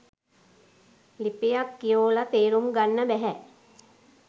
ලිපියක් කියෝලා තේරුම් ගන්න බැහැ.